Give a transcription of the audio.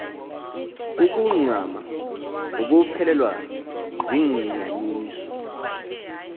ukuncama ukuphelelwa ziinyaniso